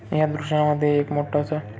या दृश्यामध्ये एक मोठा सा--